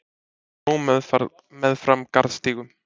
Blóm meðfram garðstígum.